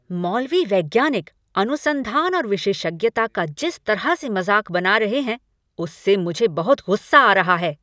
मौलवी वैज्ञानिक अनुसंधान और विशेषज्ञता का जिस तरह से मज़ाक बना रहे हैं, उससे मुझे बहुत गुस्सा आ रहा है।